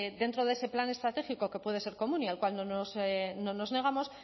dentro de ese plan estratégico que puede ser común y al cual no nos negamos